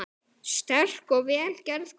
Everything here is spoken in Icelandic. Sterk og vel gerð kona.